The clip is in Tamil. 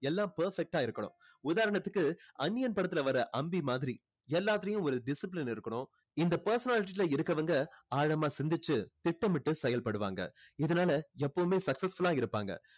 எல்லாம் perfect ஆ இருக்கணும் உதாரணத்துக்கு அந்நியன் படத்துல வர்ற அம்பி மாதிரி எல்லாத்துலயும் ஒரு discipline இருக்கணும் இந்த personality ல இருக்கவங்க ஆழமா சிந்திச்சு திட்டமிட்டு செயல்படுவாங்க இதுனால எப்போவுமே successful ஆ இருப்பாங்க